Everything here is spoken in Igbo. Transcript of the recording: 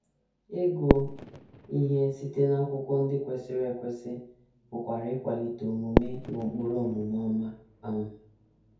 Ịgụ ihe site n’akwụkwọ ndị kwesịrị ekwesị pụkwara ịkwalite omume na ụkpụrụ omume ọma. um